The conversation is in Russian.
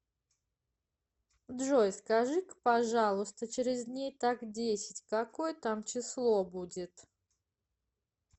джой скажи ка пожалуйста через дней так десять какое там число будет